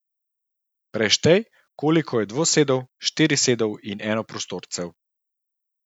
Preštej, koliko je dvosedov, štirisedov in enoprostorcev.